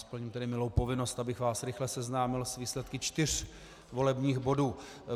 Splním tedy milou povinnost, abych vás rychle seznámil s výsledky čtyř volebních bodů.